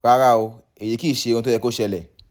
rárá o èyí kìí ṣe ohun tó yẹ kó ṣẹlẹ̀